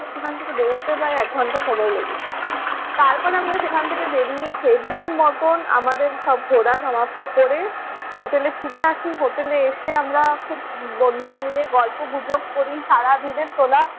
সেখান থেকে বের হতে প্রায় এক ঘন্টা সময় লেগে যায়। তারপর আমরা সেখান থেকে বেরিয়ে সেই দিনের মতোন আমাদের সব ঘোরা সমাপ্ত করে হোটেলে ফিরে আসি। হোটেলে এসে আমরা খুব বন্ধুরা মিলে গল্প-গুজব করি সারাদিনের তোলা